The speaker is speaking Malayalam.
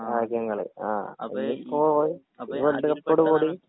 രാജ്യങ്ങൾ ആ അപ്പോ രണ്ട് കൂടി